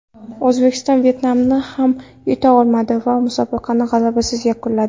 O‘zbekiston Vyetnamni ham yuta olmadi va musobaqani g‘alabasiz yakunladi.